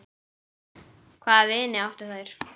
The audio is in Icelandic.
Hvaða vini áttu þær?